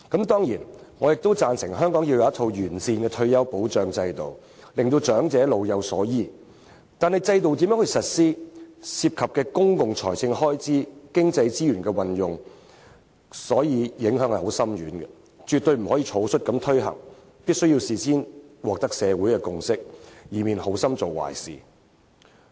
當然，我亦贊成香港須有完善的退休保障制度，令長者老有所依，但如何實施制度，將涉及公共財政開支和經濟資源的運用，因此影響深遠，絕對不能草率推行，必須事先取得社會的共識，以免好心做壞事。